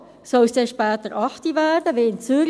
– Soll es später 20 Uhr werden wie in Zürich?